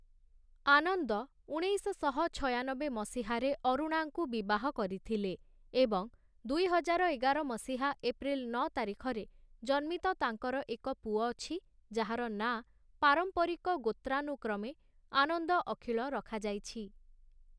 ଆନନ୍ଦ, ଉଣେଇଶଶହ ଛୟାନବେ ମସିହାରେ ଅରୁଣାଙ୍କୁ ବିବାହ କରିଥିଲେ ଏବଂ ଦୁଇହଜାର ଏଗାର ମସିହା ଏପ୍ରିଲ୍‌ ନଅ ତାରିଖରେ ଜନ୍ମିତ ତାଙ୍କର ଏକ ପୁଅ ଅଛି, ଯାହାର ନାଁ ପାରମ୍ପରିକ ଗୋତ୍ରାନୁକ୍ରମେ ଆନନ୍ଦ ଅଖିଳ ରଖାଯାଇଛି ।